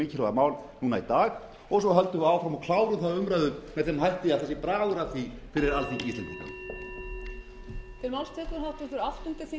mikilvæga mál í dag og svo höldum við áfram og klárum þá umræðu með þeim hætti að það sé bragur að því fyrir alþingi íslendinga